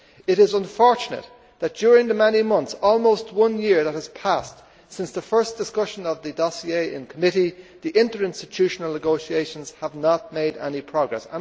It is unfortunate that during the many months almost one year that have passed since the first discussion of the dossier in committee, interinstitutional negotiations have not made any progress.